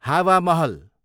हावा महल